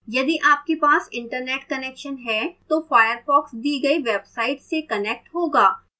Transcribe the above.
यदि आपके पास internet connect है तो firefox दी गई website से connect होगा